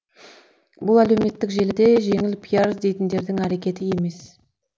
бұл әлеуметтік желіде жеңіл пиар іздейтіндердің әрекеті емес